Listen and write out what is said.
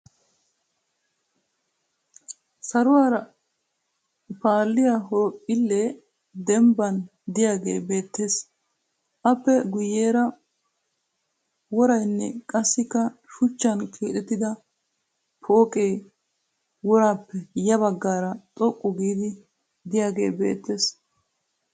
Saluwaara paalliya horoophphillee dembban diyagee beettes. Aappe guyyeera worayinne qassikka shuchchan keexettida pooqee woraappe ya baggaara xoqqu giidi diyagee beettes.